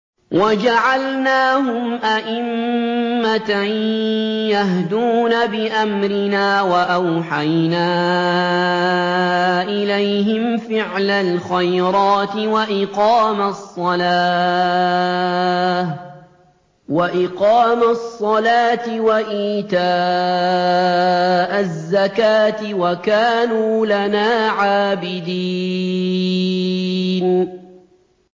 وَجَعَلْنَاهُمْ أَئِمَّةً يَهْدُونَ بِأَمْرِنَا وَأَوْحَيْنَا إِلَيْهِمْ فِعْلَ الْخَيْرَاتِ وَإِقَامَ الصَّلَاةِ وَإِيتَاءَ الزَّكَاةِ ۖ وَكَانُوا لَنَا عَابِدِينَ